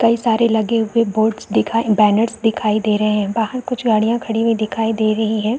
कई सारे लगे हुए बोर्ड्स दिखाई बैनर्स दिखाई दे रहे है बाहर कुछ गाड़ियाँ खड़ी हुई दिखाई दे रही है।